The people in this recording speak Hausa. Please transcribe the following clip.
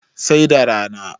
sai da rana